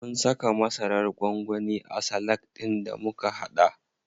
Mun saka masarar gwangwani a salak ɗin da muka haɗa.